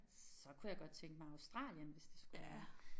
Så kunne jeg godt tænke mig Australien hvis det skulle være